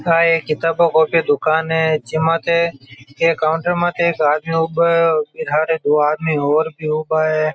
या एक किताबा कॉपिया की दुकान है जि माथे एक काउन्टर माथे एक हाथ माथे लारे दो आदमी और भी ऊबा है।